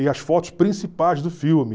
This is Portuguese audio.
e as fotos principais do filme.